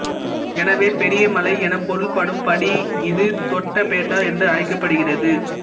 எனவே பெரிய மலை எனப் பொருள்படும் படி இது தொட்டபெட்டா என்று அழைக்கப் படுகிறது